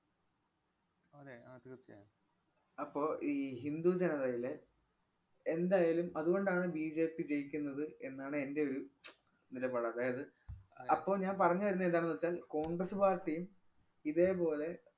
അപ്പൊ ഈ ഹിന്ദു ജനതയിലെ എന്തായാലും അതുകൊണ്ടാണ് ബിജെപി ജയിക്കുന്നത് എന്നാണ് എന്‍റെ ഒരു നിലപാട്. അതായത് അപ്പൊ ഞാൻ പറഞ്ഞു വരുന്നെ എന്താന്നു വച്ചാല്‍ കോണ്‍ഗ്രസ് പാര്‍ട്ടിയും ഇതേപോലെ